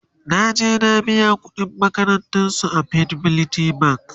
naje na biya ƙuɗin makarantan su a fidelity bank